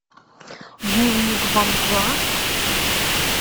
дневник бомжа